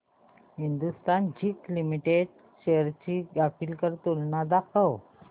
Hindustan zinc limited shares ची graphical तुलना दाखव